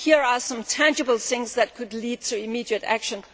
Here are some tangible things that could lead to immediate action.